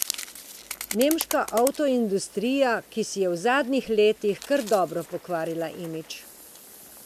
Nemška avtoindustrija, ki si je v zadnjih letih kar dobro pokvarila imidž.